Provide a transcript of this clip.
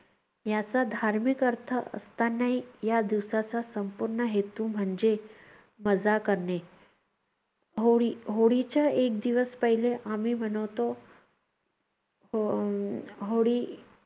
याचा धार्मिक अर्थ असतानाही या दिवसाचा संपूर्ण हेतू म्हणजे मजा करणे. होळी, होळीच्या एक दिवस पहिले आम्ही मनवतो अं होळी